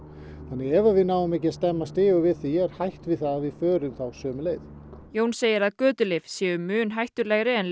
ef við náum ekki að stemma stígu við því er hætt við að við förum sömu leið Jón segir að götulyf séu mun hættulegri en